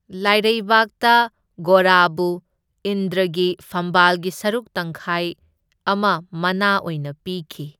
ꯂꯥꯏꯔꯩꯕꯥꯛꯇ ꯒꯣꯔꯥꯕꯨ ꯏꯟꯗ꯭ꯔꯒꯤ ꯐꯝꯕꯥꯜꯒꯤ ꯁꯔꯨꯛ ꯇꯪꯈꯥꯏ ꯑꯃ ꯃꯅꯥ ꯑꯣꯏꯅ ꯄꯤꯈꯤ꯫